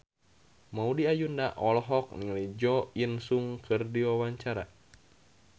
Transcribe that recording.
Maudy Ayunda olohok ningali Jo In Sung keur diwawancara